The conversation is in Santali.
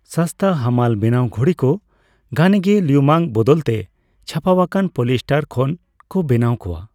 ᱥᱚᱥᱛᱟ ᱦᱟᱢᱟᱞᱼᱵᱮᱱᱟᱣ ᱜᱷᱩᱲᱤ ᱠᱚ ᱜᱷᱟᱱᱮᱜᱮ ᱞᱤᱩᱢᱟᱹᱝ ᱵᱚᱫᱚᱞᱛᱮ ᱪᱷᱟᱯᱟᱣᱟᱠᱟᱱ ᱯᱚᱞᱤᱭᱮᱥᱴᱟᱨ ᱠᱷᱚᱱ ᱠᱚ ᱵᱮᱱᱟᱣ ᱠᱚᱣᱟ ᱾